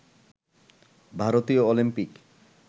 ভারতীয় অলিম্পিক